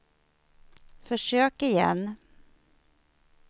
försök igen